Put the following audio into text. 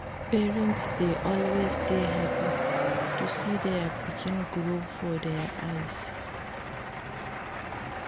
Parents dey always dey happy to see their pikin grow for their eyes